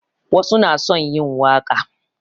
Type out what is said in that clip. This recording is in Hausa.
Wasu na son yi waƙa